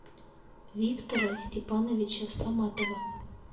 виктора степановича саматова